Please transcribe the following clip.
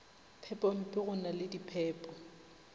phepompe go na le diphepo